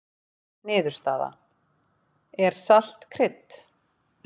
Niðurstaða: Er salt krydd?